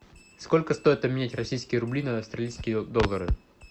сколько стоит обменять российские рубли на австралийские доллары